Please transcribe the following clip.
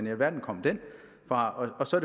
i alverden kom den fra og så